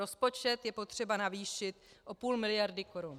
Rozpočet je potřeba navýšit o půl miliardy korun.